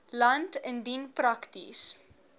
land indien prakties